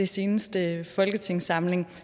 seneste folketingssamling